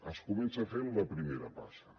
es comença fent la primera passa